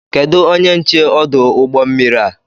Kedụ onye nche ọdụ ụgbọ mmiri a?